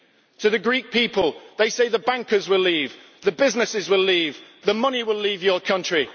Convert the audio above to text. To the Greek people, they say the bankers will leave, the businesses will leave, the money will leave your country.